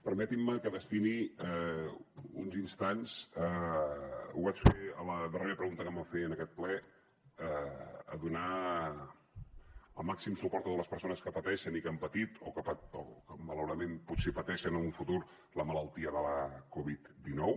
permetinme que destini uns instants ho vaig fer a la darrera pregunta que em van fer en aquest ple a donar el màxim suport a totes les persones que pateixen i que han patit o que malauradament potser pateixen en el futur la malaltia de la coviddinou